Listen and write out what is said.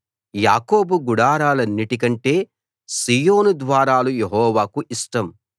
యాకోబు గుడారాలన్నిటికంటే సీయోను ద్వారాలు యెహోవాకు ఇష్టం